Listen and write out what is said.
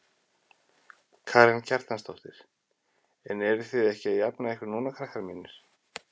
Karen Kjartansdóttir: En eruð þið ekki að jafna ykkur núna krakkar mínir?